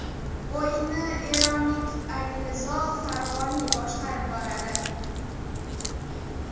O‘yinni eronlik Alirizo Fag‘oniy boshqarib boradi.